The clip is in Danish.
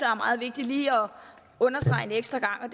er meget vigtig lige at understrege en ekstra gang og